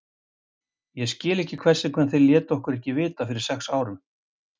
Ég skil ekki hvers vegna þeir létu okkur ekki vita fyrir sex vikum?